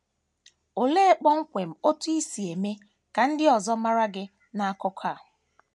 Olee kpọmkwem otú i si eme ka ndị ọzọ mara gị n’akụkụ a?